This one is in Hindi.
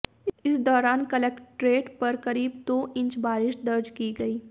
इस दौरान कलक्ट्रेट पर करीब दो इंच बारिश दर्ज की गई